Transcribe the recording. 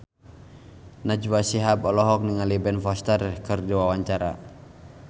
Najwa Shihab olohok ningali Ben Foster keur diwawancara